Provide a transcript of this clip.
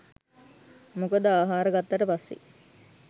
මොකද ආහාර ගත්තට පස්සේ